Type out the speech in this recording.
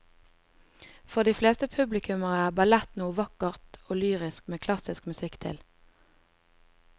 For de fleste publikummere er ballett noe vakkert og lyrisk med klassisk musikk til.